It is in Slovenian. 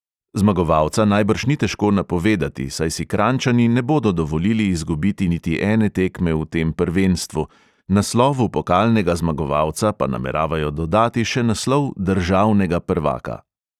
Zmagovalca najbrž ni težko napovedati, saj si kranjčani ne bodo dovolili izgubiti niti ene tekme v tem prvenstvu, naslovu pokalnega zmagovalca pa nameravajo dodati še naslov državnega prvaka.